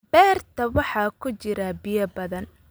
Beerta waxaa ku jira biyo badan